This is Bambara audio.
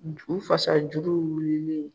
U fasa jugu wililen